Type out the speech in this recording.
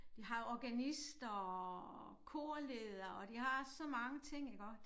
De har jo organist og korleder og de har så mange ting iggå